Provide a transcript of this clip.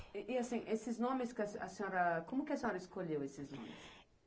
E e, assim, esses nomes que a a senhora... Como que a senhora escolheu esses nomes?